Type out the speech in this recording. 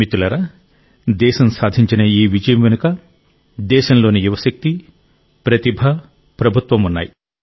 మిత్రులారా దేశం సాధించిన ఈ విజయం వెనుక దేశంలోని యువశక్తి ప్రతిభ ప్రభుత్వం ఉన్నాయి